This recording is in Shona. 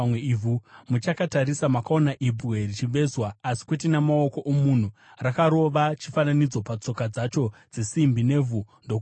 Muchakatarisa, makaona ibwe richivezwa, asi kwete namaoko omunhu. Rakarova chifananidzo patsoka dzacho dzesimbi nevhu ndokuzvipwanya.